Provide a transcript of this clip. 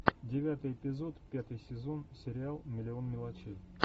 девятый эпизод пятый сезон сериал миллион мелочей